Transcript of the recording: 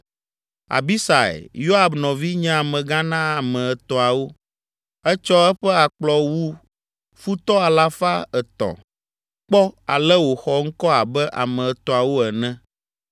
Abisai, Yoab nɔvi nye amegã na ame etɔ̃awo. Etsɔ eƒe akplɔ wu futɔ alafa etɔ̃ (300) kpɔ ale wòxɔ ŋkɔ abe ame etɔ̃awo ene.